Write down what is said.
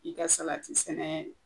I ka salati sɛnɛ